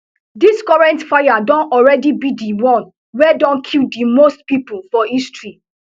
dis current fires don alreadi be di one wey don kill di most pipo for history